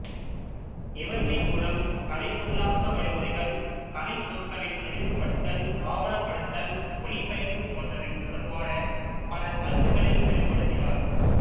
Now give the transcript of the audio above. இவற்றின் மூலம் கலைச்சொல்லாக்க வழிமுறைகள் கலைச்சொற்களைத் தெளிவுபடுத்தல் ஆவணப்படுத்தல் ஒலிபெயர்ப்பு போன்றவை தொடர்பான பல கருத்துக்களை வெளிப்படுத்தினார்